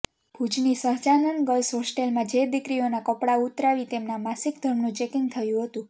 ભુજની સહજાનંદ ગર્લ્સ હોસ્ટેલમાં જે દીકરીઓના કપડા ઉતરાવી તેમના માસિકધર્મનું ચેકિંગ થયું હતું